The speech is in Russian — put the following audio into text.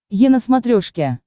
е на смотрешке